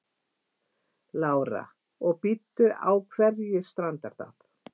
Lára: Og bíddu, á hverju strandar það?